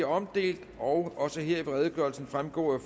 omdelt og også her vil redegørelsen fremgå af